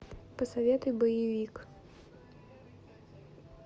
посоветуй боевик